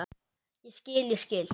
Ég skil, ég skil.